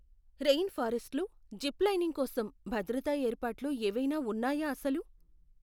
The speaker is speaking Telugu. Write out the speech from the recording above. రెయిన్ ఫారెస్టులో జిప్ లైనింగ్ కోసం భద్రతా ఏర్పాట్లు ఏవైనా ఉన్నాయా అసలు?